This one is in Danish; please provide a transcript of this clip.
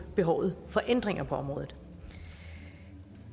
behovet for ændringer på området